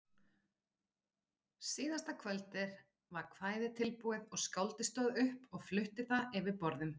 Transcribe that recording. Síðasta kvöldið var kvæðið tilbúið og skáldið stóð upp og flutti það yfir borðum.